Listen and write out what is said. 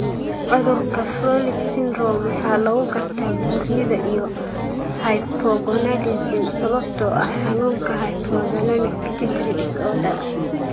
Cudurka 'Froelich syndrome' waxaa lagu gartaa buurnida iyo hypogonadism sababtoo ah xanuunka 'hypothalamic pituitary disorder'.